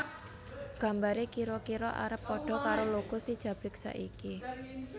Gambare kira kira arep padha karo logo si Jabrik saiki